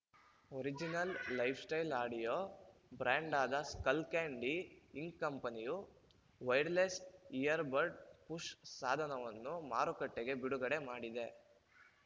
original lifestyle audio brand ಆದ Skullcandy Inc ಕಂಪನಿಯು wireless earbud push ಸಾಧನವನ್ನು ಮಾರುಕಟ್ಟೆಗೆ ಬಿಡುಗಡೆ ಮಾಡಿದೆ